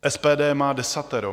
SPD má desatero.